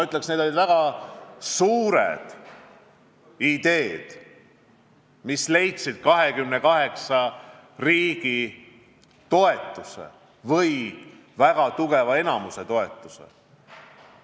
Ütleksin, et need olid väga suured ideed, mis leidsid 28 riigi toetuse või väga suure enamiku toetuse.